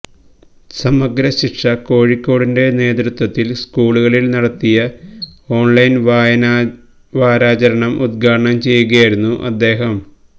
സമഗ്ര ശിക്ഷാ കോഴിക്കോടിന്റെ നേതൃത്വത്തില് സ്കൂളുകളില് നടത്തിയ ഓണ്ലൈന് വായനാവാരാചരണം ഉദ്ഘാടനം ചെയ്യുകയായിരുന്നു അദ്ദേഹം